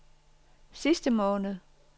sidste måned